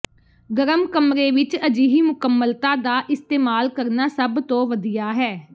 ਗਰਮ ਕਮਰੇ ਵਿੱਚ ਅਜਿਹੀ ਮੁਕੰਮਲਤਾ ਦਾ ਇਸਤੇਮਾਲ ਕਰਨਾ ਸਭ ਤੋਂ ਵਧੀਆ ਹੈ